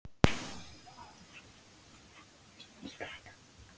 """Já, já. ég sé það."""